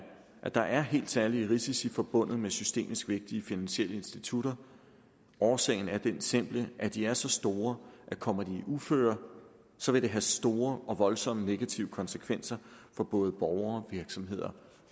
at der er helt særlige risici forbundet med systemisk vigtige finansielle institutter årsagen er den simple at de er så store at kommer de i uføre vil det have store og voldsomme negative konsekvenser for både borgere og virksomheder